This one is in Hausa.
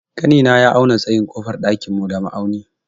Ƙanina ya auna tsayin ƙofar ɗakin mu da ma'auni.